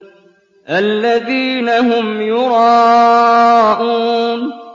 الَّذِينَ هُمْ يُرَاءُونَ